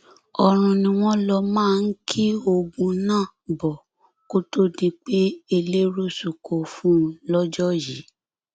ọrun ni wọn lọ máa ń ki oògùn náà bọ kó tóó di pé ẹlẹẹrú sunko fún un lọjọ yìí